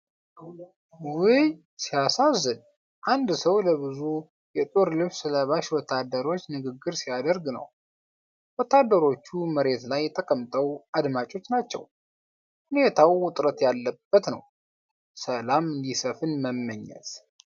ውይ ሲያሳዝን! አንድ ሰው ለብዙ የጦር ልብስ ለባሽ ወታደሮች ንግግር ሲያደርግ ነው። ወታደሮቹ መሬት ላይ ተቀምጠው አዳማጮች ናቸው። ሁኔታው ውጥረት ያለበት ነው ። ሰላም እንዲሰፍን መመኘት!